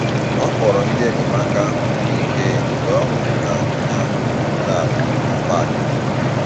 Ọ kpọrọ ndị enyemaka ahụ ike mgbe ọ hụrụ na onye ahụ eruola ala na parki